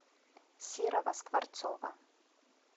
серого скворцова